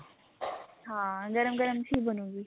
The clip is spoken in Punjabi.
ਹਾਂ ਗਰਮ ਗਰਮ ਚ ਹੀ ਬਨੁਗੀ